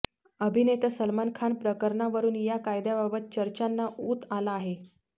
अभिनेता सलमान खान प्रकरणावरून या कायद्याबाबत चर्चांना ऊत आला आहे